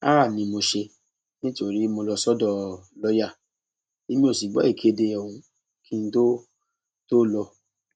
háà ni mo ṣe nítorí mo lọ sọdọ lọọyà èmi ò sì gbọ ìkéde ọhún kí n tóó tóó lọ